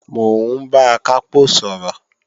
Mò ń bá Akápò sọ̀rọ̀